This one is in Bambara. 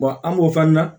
an b'o fɔ an ɲɛna